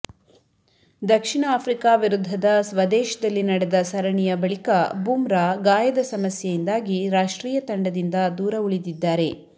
ದಕ್ಷಿಣ Africa ವಿರುದ್ಧದ ಸ್ವದೇಶದಲ್ಲಿ ನಡೆದ ಸರಣಿಯ ಬಳಿಕ ಬುಮ್ರಾ ಗಾಯದ ಸಮಸ್ಯೆಯಿಂದಾಗಿ ರಾಷ್ಟ್ರೀಯ ತಂಡದಿಂದ ದೂರ ಉಳಿದಿದ್ದಾರೆ